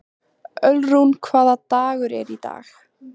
Ölrún, hvaða dagur er í dag?